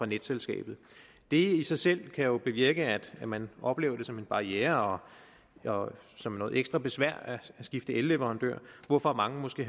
netselskabet det i sig selv kan jo bevirke at man oplever det som en barriere og som noget ekstra besværligt at skifte elleverandør hvorfor mange måske